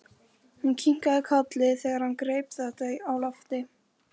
Hún kinkaði kolli þegar hann greip þetta á lofti.